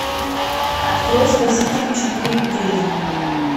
открой спаситель четыре кей